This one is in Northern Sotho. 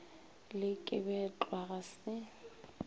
le ke betlwa ga se